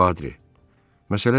Patri, məsələ belə olub.